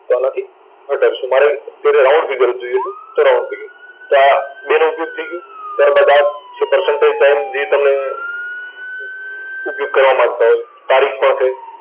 તો આનાથી ઘટાડશુ. મારે અત્યારે round figure જોઈએ છે. તો round figure તો આ બેનો ઉપયોગ થઇ ગયો. ત્યાર બાદ આ જે percentage, time જે તમને ઉપયોગ કરવા માંગતા હોય. તારીખ પણ છે.